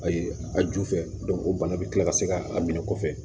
Ayi a ju fɛ o bana bɛ tila ka se k'a minɛ kɔfɛ